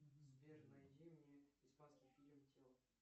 сбер найди мне испанский фильм тело